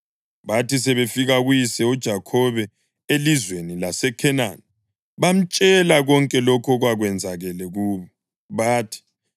Bathi sebefike kuyise uJakhobe elizweni laseKhenani bamtshela konke lokho okwakwenzakele kubo. Bathi,